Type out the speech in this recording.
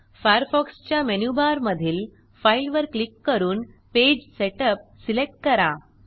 Firefox च्या मेनूबारमधील file वर क्लिक करून पेज सेटअप सिलेक्ट करा